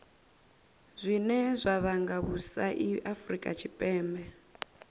zwine zwa vhanga vhusai afurika tshipembe